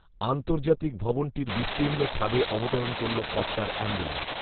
আন্তর্জাতিক ভবনটির বিস্তীর্ণ ছাদে অবতরণ করল কপ্টার অ্যাম্বুল্যান্স